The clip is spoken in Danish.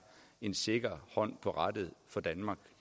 en sikker hånd på rattet for danmark